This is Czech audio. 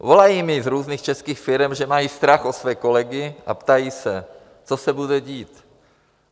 Volají mi z různých českých firem, že mají strach o své kolegy, a ptají se, co se bude dít.